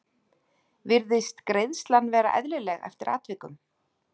Virðist greiðslan vera eðlileg eftir atvikum?